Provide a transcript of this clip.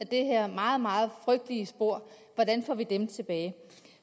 det her meget meget frygtelige spor hvordan får vi dem tilbage